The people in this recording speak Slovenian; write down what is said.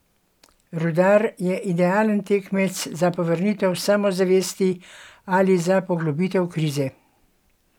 Rudar je idealen tekmec za povrnitev samozavesti ali za poglobitev krize!